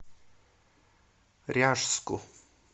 ряжску